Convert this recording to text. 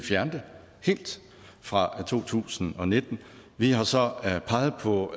fjerne det fra to tusind og nitten vi har så peget på